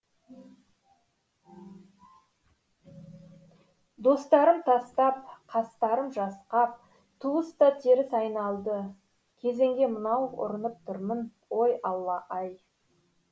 достарым тастап қастарым жасқап туыс та теріс айналды кезеңге мынау ұрынып тұрмын ой алла ай